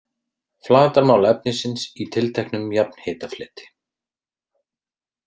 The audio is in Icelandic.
Flatarmál efnisins í tilteknum jafnhitafleti.